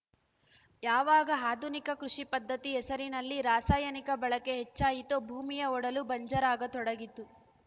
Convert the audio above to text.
ಯಾವಾಗ ಆಧುನಿಕ ಕೃಷಿ ಪದ್ಧತಿ ಹೆಸರಿನಲ್ಲಿ ರಾಸಾಯನಿಕ ಬಳಕೆ ಹೆಚ್ಚಾಯಿತೋ ಭೂಮಿಯ ಒಡಲೂ ಬಂಜರಾಗತೊಡಗಿತು